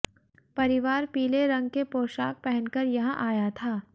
परिवार पीले रंग के पोशाक पहनकर यहां आया था